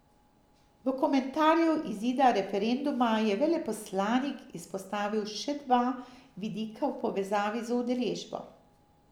V komentarju izida referenduma je veleposlanik izpostavil še dva vidika v povezavi z udeležbo.